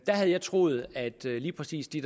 havde troet at lige præcis de